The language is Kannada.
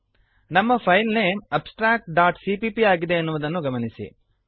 ನಮ್ಮ ಫೈಲ್ ನೇಮ್ abstractಸಿಪಿಪಿ ಆಗಿದೆ ಎನ್ನುವುದನ್ನು ಗಮನಿಸಿರಿ